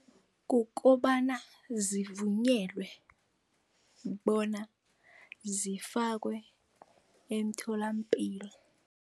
Kukobana zivunyelwe bona zifakwe emtholampilo.